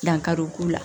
Dankari o k'u la